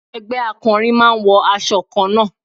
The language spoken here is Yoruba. Ẹgbẹ́ akọrin máa ń wọ aṣọ kanna.